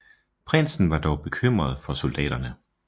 Prinsen var dog bekymret for soldaterne